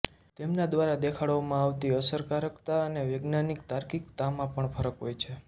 તેમના દ્વારા દેખાડવામાં આવતી અસરકારકતા અને વૈજ્ઞાનિક તાર્કિકતામાં પણ ફરક હોય છે